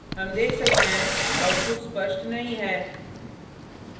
हम देख सकते हैं output स्पष्ट नहीं है